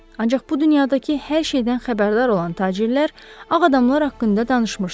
Ancaq bu dünyadakı hər şeydən xəbərdar olan tacirlər ağ adamlar haqqında danışmışdılar.